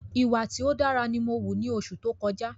Ìwà tí ó dára ni mó wù ni oṣù tó kọjá